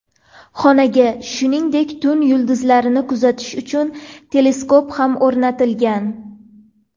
Xonaga, shuningdek, tun yulduzlarni kuzatish uchun teleskop ham o‘rnatilgan.